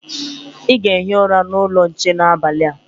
Ị ga-ehi ụra n'ụlọ nche n'abalị a.